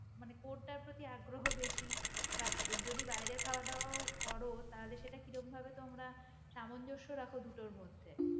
মানে, কোনটার প্রতি আগ্রহ বেশি বাহঃ যদি বাইরের খাওয়া দাওয়া করো তাহলে সেটা কিরকম ভাবে তো আমরা সামঞ্জস্য রাখা দুটোর মধ্যে.